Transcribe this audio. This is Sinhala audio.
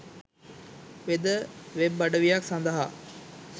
වෙද වෙබ් අඩවියක් සඳහා